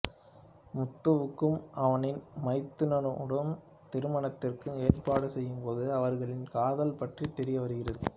முத்துவுக்கும் அவனின் மைத்துனியுடன் திருமணத்திற்கு ஏற்பாடு செய்யும் போது அவர்களின் காதல் பற்றி தெரியவருகிறது